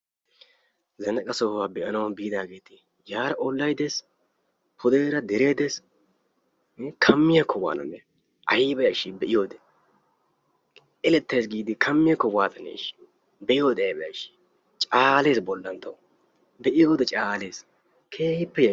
Zannaqa sohuwa be"anawu biidaageeti yaara ollayi des pudeera deree des kammiyakko waananee ayiba yashshii be"iyode. Elettayis giidi kammiyakko waatane ishshi be"iyode ayba yashshii caales bollan tawu. Be"iyode caales keehippe yashshes.